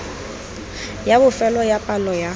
ya bofelo ya palo ya